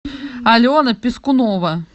алена пискунова